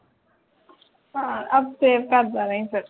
ਹਾਂ ਅਬ ਫਿਰ ਆਪ ਪਰ ਜਾਣਾ ਹੀ ਫੇਰ